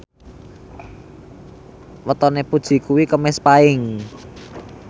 wetone Puji kuwi Kemis Paing